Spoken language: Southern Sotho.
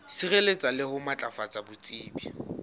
sireletsa le ho matlafatsa botsebi